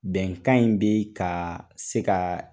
Bɛnkan in bɛ ka se ka